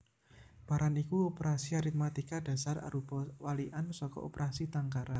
Paran iku operasi aritmatika dhasar arupa walikan saka operasi tangkaran